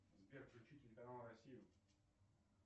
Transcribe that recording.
сбер включи телеканал россия